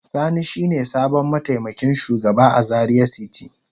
Sani shine sabon mataimakin shugaba a Zaria city.